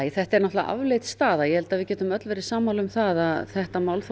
þetta er náttúrulega afleit staða ég held að við getum öll verið sammála um það að þetta málþóf